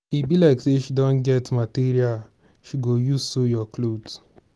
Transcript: e be like say she don get material she go use sew your cloth.